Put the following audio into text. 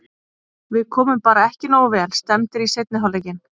Við komum bara ekki nógu vel stemmdir í seinni hálfleikinn.